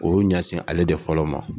O y'u ɲɛsin ale de fɔlɔ ma.